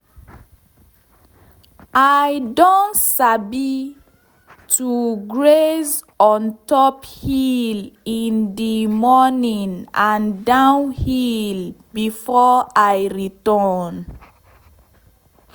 i don sabi to graze on top hill in d morning and down hill before i return.